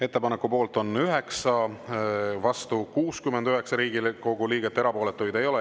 Ettepaneku poolt on 9, vastu 69 Riigikogu liiget, erapooletuid ei ole.